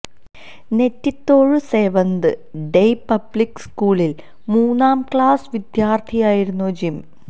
നെറ്റിത്തോഴു seventh day public സ്കൂളില് മൂന്നാം class വിദ്യാര്ഥിയായിരുന്നു ജിം